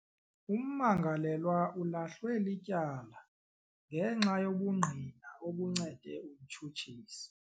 Ummangalelwa ulahlwe lityala ngenxa yobungqina obuncede umtshutshisi.